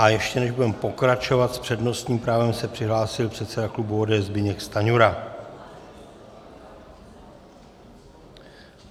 A ještě než budeme pokračovat, s přednostním právem se přihlásil předseda klubu ODS Zbyněk Stanjura.